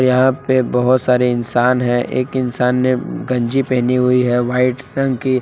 यहां पे बहुत सारे इंसान हैं एक इंसान ने गंजी पहनी हुई है वाइट रंग की।